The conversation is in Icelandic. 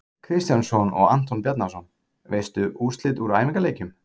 Kristjánsson og Anton Bjarnason.Veistu úrslit úr æfingaleikjum?